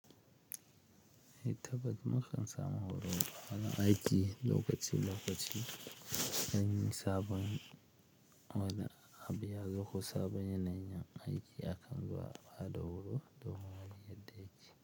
Yi taɓaɗi makan samu horo ana aiki lokaci lokaci. Sanyi sabon wane abu yazo ko sabon yanayin aiki akan baɗa horo domin yadda yace.